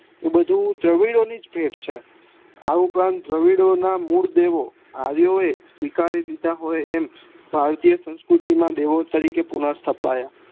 એ બધું દવીડો ની જ ભેટ છે આ ઉપરાત દવીડો ના મૂળ દેવો આર્યો એ સીવાકરી લીધા હોય એમ ભારતીય સંસ્કૃતિ માં દેવો તરીકે પુનઃ સ્થપાયા